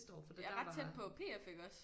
Ja ret tæt på P F iggås